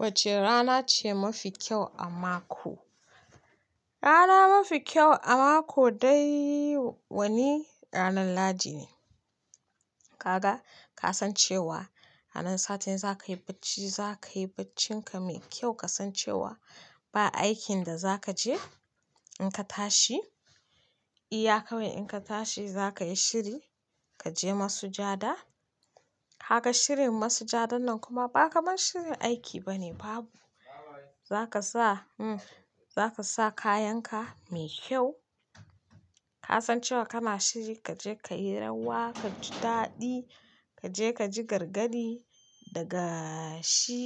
Wacce rana ce mafi kyau a mako? Rana mafi kyau a mako dai wani ranan Lahadi ne. Kaga ka san cewa ranan satin za ka yi bacci, za ka yi baccin ka mai kyau ka san cewa ba aikin da za ka je in ka tashi. Iya kawai in ka tashi za ka yi shiri ka je masujada. Kaga shirin masujadan nan kuma ba kamar shirin aiki bane babu. Za ka sa, hm, za ka sa kayan ka mai kyau. Ka san cewa kana shiri ka je ka yi rawa, ka ji daɗi, ka je ka ji gargadi daga shi,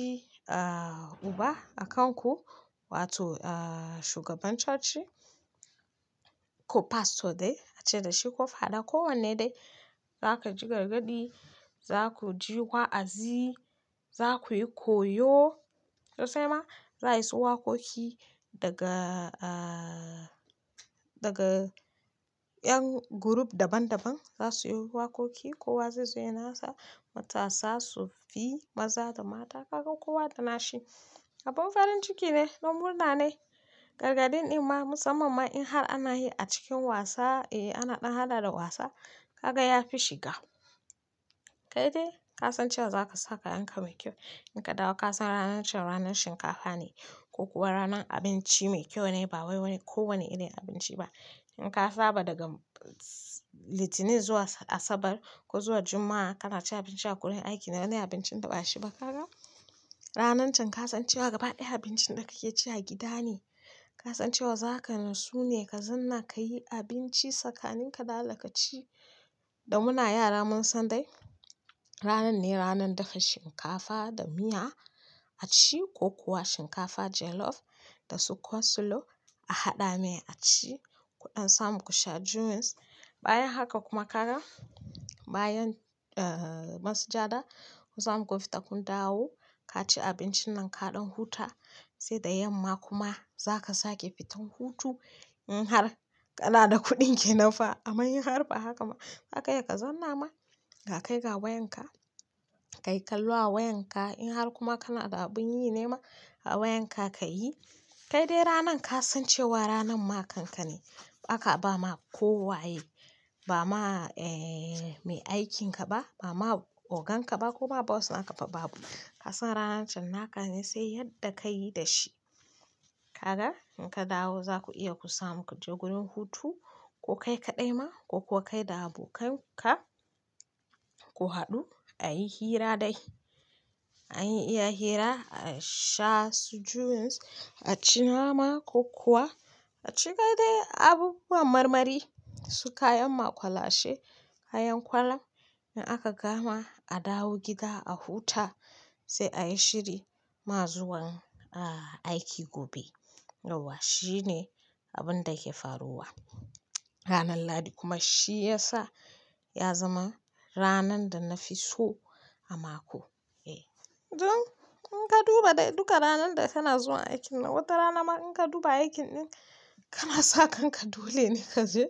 ah, uba a kan ku wato, ah, shugaban coci ko pastor dai a ce dashi ko father ko wanne dai. Za ka ji gargadi, za ku ji wa'azi, za ku yi koyo to sai ma za a yi su waƙoƙi daga, ah, daga ƴan group daban daban za su yoyi waƙoƙi, kowa zai zo yayi na sa matasa su fi maza da mata. Kaga kowa da na shi. Abin farin ciki ne don murna ne. Gargadin ɗin ma musamman ma in har ana yi a cikin wasa, eh, ana ɗan hada da wasa kaga ya fi shiga. Kai dai ka san cewa za ka sa kayan ka mai kyau. In ka dawo ka san ranan can ranan shinkafa ne ko kuwa ranan abinci mai kyau ne ba wai wani ko wani irin abinci ba. In ka saba daga litinin zuwa asabar ko zuwa juma'a ka na ci abinci a gurin aiki na dai abincin da ba shi ba kaga ranan can ka san cewa gaba ɗaya abincin da ka ke ci a gida ne. Ka san cewa za ka nitsu ne ka zanna ka yi abinci tsakanin ka da allah ka ci. Da muna yara mun san dai ranan ne ranan dafa shinkafa da miya a ci ko kuwa shinkafa jollof da su coslo a haɗa mai a ci. Kuɗan samu ku sha juice. Bayan haka kuma kaga bayan, ah, masujada kun samu kun fita kun dawo ka ci abincin nan kaɗan huta sai da yamma kuma za ka sake fitan hutu in har kana da kuɗin kenan fa. Amman in har ba haka ba zaka iya ka zanna ma ga kai ga wayan ka, ka yi kallo a wayan ka in har kuma kana da abin yi ne ma awayan ka ka yi. Kai dai ranan ka san cewa ranan ma kanka ne. Ba ka ba ma ko waye ba ma, eh, mai aikin ka ba, ba ma ogan ka ba ko ma boss na ka ba babu. Ka san ranan can naka ne sai yadda ka yi da shi. Kaga in ka dawo za ku iya ku samu ku je gurin hutu ko kai kaɗai ma ko kuwa kai da abokan ka ku haɗu a yi hira dai. An yi iya hira, a sha su juice, a ci nama ko kuwa a ci kai dai abubuwan marmari a ci kayan makulashe a ci kayan kolon in aka gama adawo gida a huta sai a yi shiri ma zuwan, ah, aiki gobe. Yawwa shi ne abin da ya ke faruwa. Ranan Lahadi kuma shi ya sa ya zama ranan da na fi so a mako. Eh, dun in ka duba dai duka ranan da kana zuwa aikin na wata rana ma in ka duba aikin ɗin kana sa kan ka dole ne ka je.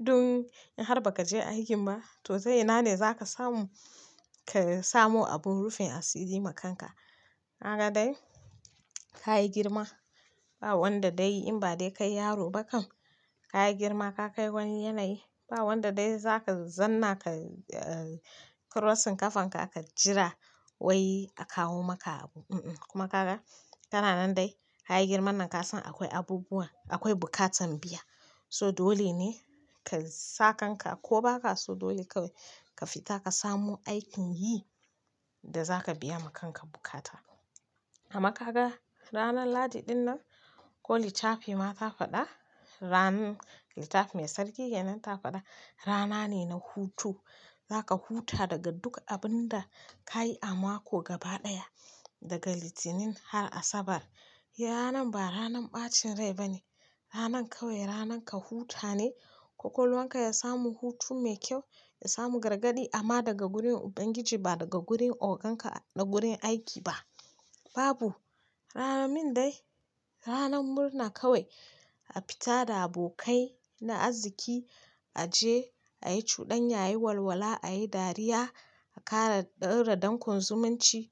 Dun in har ba ka je aikin ba to ta ina ne za ka samu ka samu abun rufin asiri ma kanka. Haka dai ka yi girma ba wanda dai in ba dai kai yaro ba kam ka girma ka kai wani yanayi ba wanda dai za ka zanna ka, ah, crossing ƙafan ka ka jira wai a kawo maka abu. Unh unh kuma kaga kana nan dai ka girman nan ka san akwai abubuwa, akwai bukatan biya. So dole ne ka sakan ka ko ba ka so dole kawai ka fita ka samu aikin yi da za ka biya ma kanka bukata. Amma kaga ranan Lahadi ɗin nan ko littafi ma ta faɗa, ranan littafi mai sarki yanar ta faɗa rana ne na hutu. Za ka huta daga duk abin da ka yi a mako gaba ɗaya daga litinin har asabar. Ranan ba ranan ɓacin rai ba ne. Ranan kawai ranan ka huta ne kwakwalwanka ya samu hutu mai kyau, ya samu gargadi amma daga gurin Ubangiji ba daga gurin ogan ka na gurin aiki ba. Babu. Ranar min dai ranan murna kawai a fita da abokai na arziki, a je a yi cuɗanya ayi walwala, a yi dariya, a ƙara ɗaurar dankon zumunci.